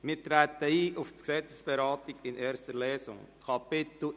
Wir treten auf die Gesetzesberatung in erster Lesung ein.